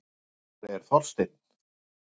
Hvar er Þorsteinn?